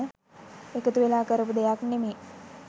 එකතු වෙලා කරපු දෙයක් නෙමේ.